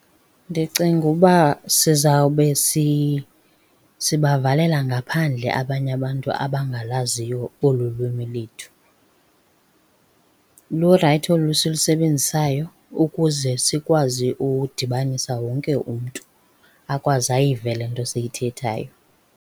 Ndicinga uba sizawube sibavalela ngaphandle abanye abantu abangalaziyo olu lwimi lethu. Lurayithi olu silusebenzisayo ukuze sikwazi ukudibanisa wonke umntu, akwazi ayive le nto siyithethayo.